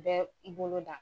bɛ i bolo da.